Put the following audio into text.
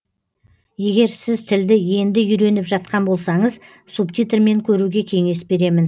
егер сіз тілді енді үйреніп жатқан болсаңыз субтитрмен көруге кеңес беремін